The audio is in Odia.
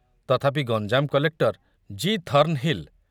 ତଥାପି ଗଞ୍ଜାମ କଲେକ୍ଟର ଜି. ଥର୍ଣ୍ଣହିଲ